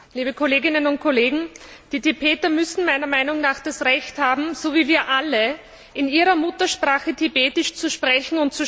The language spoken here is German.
Frau Präsidentin! Liebe Kolleginnen und Kollegen! Die Tibeter müssen meiner Meinung nach das Recht haben, so wie wir alle, in ihrer Muttersprache Tibetisch zu sprechen.